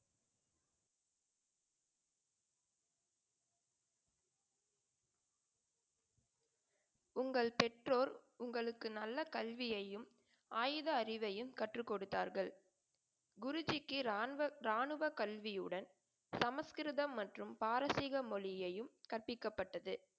உங்கள் பெற்றோர் உங்களுக்கு நல்ல கல்வியையும் ஆயுத அறிவையும் கற்றுக்கொடுத்தார்கள். குருஜிக்கு இராணுவ, இராணுவ கல்வியுடன் சமஸ்கிருதம் மற்றும் பாரசீக மொழியையும் கற்பிக்கப்பட்டது.